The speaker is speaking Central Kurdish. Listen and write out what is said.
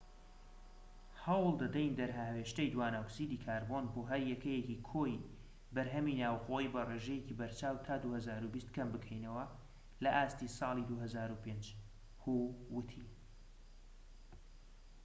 هەوڵ دەدەین دەرهاوێشتەی دوانەئۆکسیدی کاربۆن بۆ هەر یەکەیەکی کۆی بەرهەمی ناوخۆیی بە ڕێژەیەکی بەرچاو تا 2020 کەم بکەینەوە لە ئاستی ساڵی 2005 هو ووتی